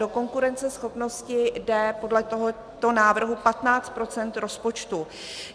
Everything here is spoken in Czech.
Do konkurenceschopnosti jde podle tohoto návrhu 15 % rozpočtu.